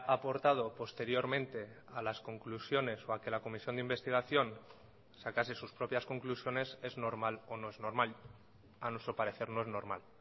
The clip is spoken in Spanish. aportado posteriormente a las conclusiones o a que la comisión de investigación sacase sus propias conclusiones es normal o no es normal a nuestro parecer no es normal